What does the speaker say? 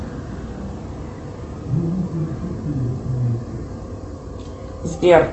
сбер